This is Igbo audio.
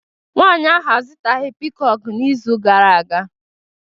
nwanyi ahuu azutaghi piikoku n'izu gara aga